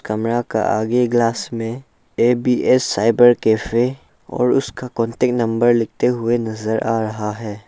कमरा का आगे ग्लास में ए_बी_एस साइबर कैफे और उसका कांटेक्ट नंबर लिखते हुए नजर आ रहा है।